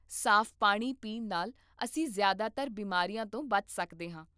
ਸਾਫ਼ ਪਾਣੀ ਪੀਣ ਨਾਲ ਅਸੀਂ ਜ਼ਿਆਦਾਤਰ ਬਿਮਾਰੀਆਂ ਤੋਂ ਬਚ ਸਕਦੇ ਹਾਂ